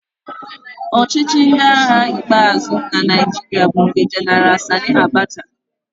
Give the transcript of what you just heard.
Ọchịchị ndị agha ikpeazụ na Naịjirịa bụ nke Gen Sani Abacha.